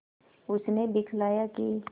उसने दिखलाया कि